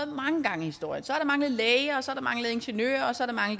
mange gange i historien så har der manglet læger så har der manglet ingeniører og så har